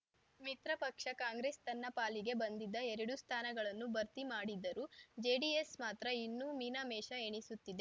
ಮಿತ್ರ ಪಕ್ಷ ಕಾಂಗ್ರೆಸ್‌ ತನ್ನ ಪಾಲಿಗೆ ಬಂದಿದ್ದ ಎರಡು ಸ್ಥಾನಗಳನ್ನು ಭರ್ತಿ ಮಾಡಿದ್ದರೂ ಜೆಡಿಎಸ್‌ ಮಾತ್ರ ಇನ್ನೂ ಮೀನಮೇಷ ಎಣಿಸುತ್ತಿದೆ